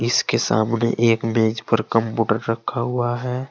इसके सामने एक मेज पर कंप्यूटर रखा हुआ है।